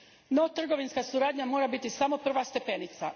No, trgovinska suradnja mora biti samo prva stepenica.